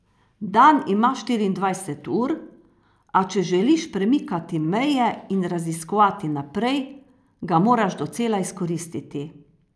Dan ima štiriindvajset ur, a če želiš premikati meje in raziskovati naprej, ga moraš docela izkoristiti.